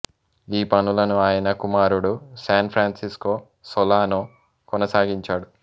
ఈ పనులను ఆయన కుమారుడు శాన్ ఫ్రాంసిస్కో సొలానొ కొనసాగించాడు